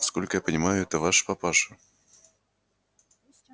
насколько я понимаю это ваш папаша